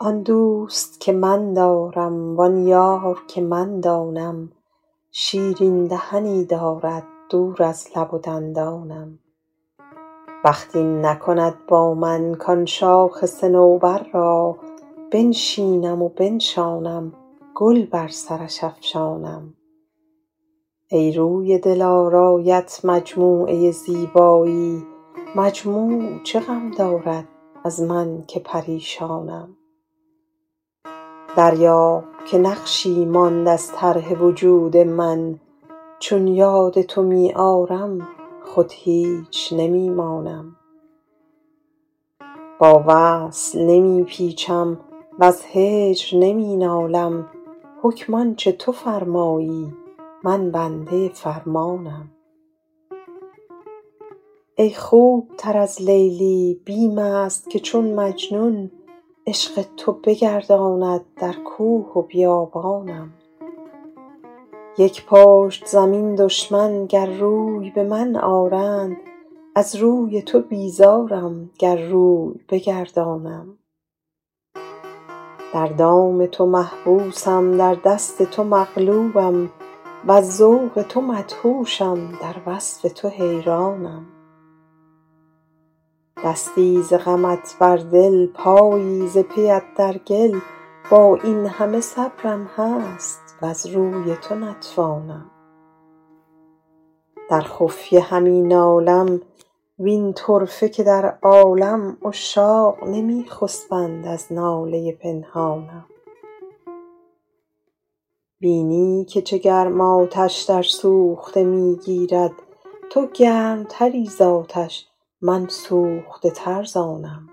آن دوست که من دارم وآن یار که من دانم شیرین دهنی دارد دور از لب و دندانم بخت این نکند با من کآن شاخ صنوبر را بنشینم و بنشانم گل بر سرش افشانم ای روی دلارایت مجموعه زیبایی مجموع چه غم دارد از من که پریشانم دریاب که نقشی ماند از طرح وجود من چون یاد تو می آرم خود هیچ نمی مانم با وصل نمی پیچم وز هجر نمی نالم حکم آن چه تو فرمایی من بنده فرمانم ای خوب تر از لیلی بیم است که چون مجنون عشق تو بگرداند در کوه و بیابانم یک پشت زمین دشمن گر روی به من آرند از روی تو بیزارم گر روی بگردانم در دام تو محبوسم در دست تو مغلوبم وز ذوق تو مدهوشم در وصف تو حیرانم دستی ز غمت بر دل پایی ز پی ات در گل با این همه صبرم هست وز روی تو نتوانم در خفیه همی نالم وین طرفه که در عالم عشاق نمی خسبند از ناله پنهانم بینی که چه گرم آتش در سوخته می گیرد تو گرم تری زآتش من سوخته تر ز آنم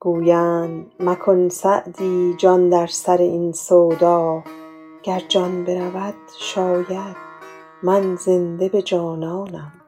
گویند مکن سعدی جان در سر این سودا گر جان برود شاید من زنده به جانانم